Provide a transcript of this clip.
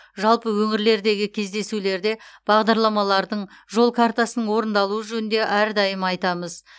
жалпы өңірлердегі кездесулерде бағдарламалардың жол картасының орындалуы жөнінде әрдайым айтамыз